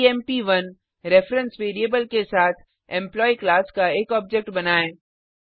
EMP1 reference variable के साथ employee class का एक ऑब्जेक्ट बनाएँ